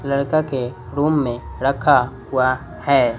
लड़का के रुम में रखा हुआ है।